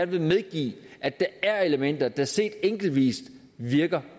vil medgive at der er elementer der set enkeltvis virker